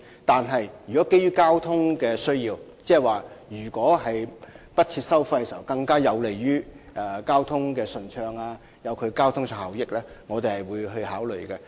可是，如果基於交通考慮，例如不設收費會更有利維持交通順暢和效益，我們會另作考慮。